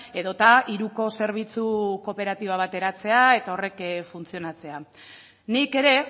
edo eta hiruko zerbitzu kooperatiba bat eratzea eta horrek funtzionatzea nik ere